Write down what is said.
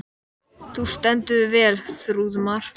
Þú stendur þig vel, Þrúðmar!